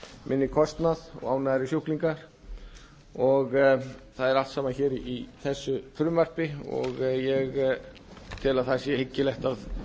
minni kostnað og ánægðari sjúklinga og það er allt saman hér í þessu frumvarpi og ég tel að það sé hyggilegt að